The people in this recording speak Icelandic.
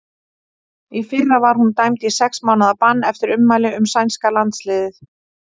Í fyrra var hún dæmd í sex mánaða bann eftir ummæli um sænska landsliðið.